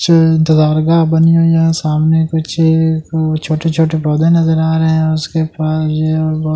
दरगाह बनी हुई है सामने कुछ छोटे-छोटे पौधे नजर आ रहे हैं उसके पास--